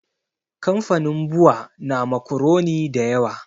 Kamfanin bua na makuroni da yawa